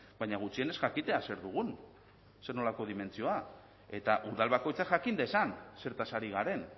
baina gutxienez jakitea zer dugun zernolako dimentsioa eta udal bakoitzak jakin dezan zertaz ari garen